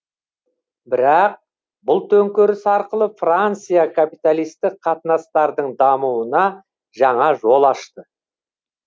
бірақ бұл төңкеріс арқылы франция капиталистік қатынастардың дамуына жаңа жол ашты